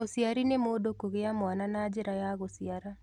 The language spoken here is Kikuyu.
ũcĩari nĩ mũndũ kũgĩa mwana na njĩra ya gũcĩara.